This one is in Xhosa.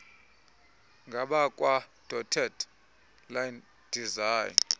ngabakwadotted line design